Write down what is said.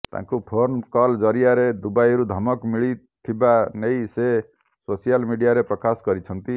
ତାଙ୍କୁ phone call ଜରିଆରେ ଦୁବାଇରୁ ଧମକ ମିଳିଥିବା ନେଇ ସେ ସୋସିଆଲ୍ ମିଡିଆରେ ପ୍ରକାଶ କରିଛନ୍ତି